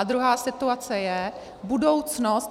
A druhá situace je budoucnost.